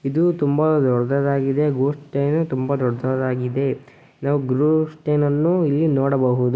ಇದು ತುಂಬಾ ದೊಡ್ಡದಾಗಿದೆ ಗೂಡ್ಸ್ ಟ್ರೇನು ತುಂಬಾ ದೊಡ್ಡದಾಗಿದೆ. ನಾವು ಗೂಡ್ಸ್ ಟ್ರೇನ್ ಅನ್ನು ಇಲ್ಲಿ ನೋಡಬಹುದು.